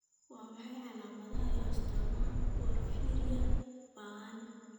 Waa maxay calaamadaha iyo astaamaha porphyria ba'an?